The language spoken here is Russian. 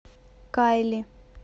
кайли